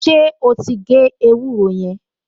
Ṣé ó ti gé ewúro yẹn?